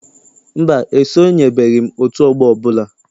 Mba, esonyebeghi m otú ọgbọ ọbụla.